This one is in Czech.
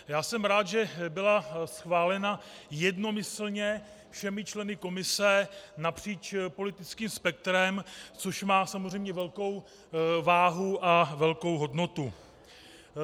Já jsem rád, že byla schválena jednomyslně všemi členy komise napříč politickým spektrem, což má samozřejmě velkou váhu a velkou hodnotu.